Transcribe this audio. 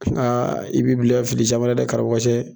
Nka i b'i bila fili caman na dɛ karamɔgɔcɛ